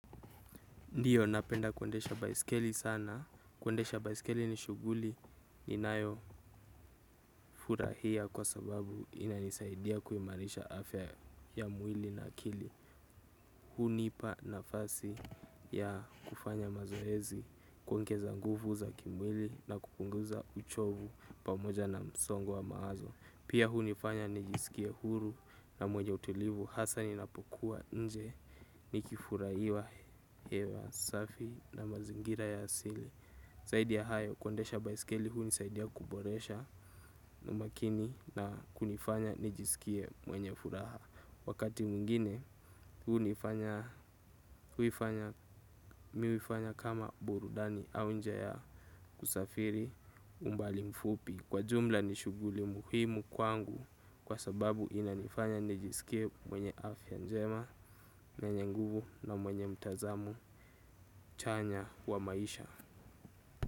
Ndiyo napenda kuendesha baiskeli sana. Kuendesha baiskeli ni shughuli ininayofurahia kwa sababu inanisaidia kuimarisha afya ya mwili na akili. Hunipa nafasi ya kufanya mazoezi kuongeza nguvu za kimwili na kupunguza uchovu pamoja na msongo wa mawazo. Pia hunifanya nijisikie huru na mwenye utulivu. Hasaa ninapokuwa nje nikifuraiwa hewa safi na mazingira ya asili. Saidi ya hayo kuendesha baiskeli huunisaidia kuboresha umakini na kunifanya nijisikie mwenye furaha. Wakati mwingine huunifanya mi uifanya kama burudani au njia ya kusafiri umbali mfupi. Kwa jumla ni shughuli muhimu kwangu kwa sababu inanifanya nijisikie mwenye afya njema mwenye nguvu na mwenye mtazamo chanya wa maisha.